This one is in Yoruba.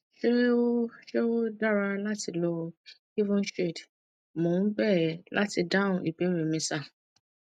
ṣé ó ṣé ó dára láti lo evenshade mo ń bẹ ẹ láti dáhùn ìbéèrè mi sir